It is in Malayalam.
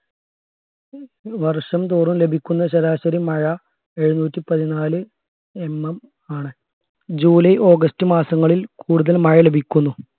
വർഷംതോറും ലഭിക്കുന്ന ശരാശരി മഴ എഴുനൂറ്റി പതിനാല്ആ MM ണ് ജൂലൈ ഓഗസ്റ്റ് മാസങ്ങളിൽ കൂടുതൽ മഴ ലഭിക്കുന്നു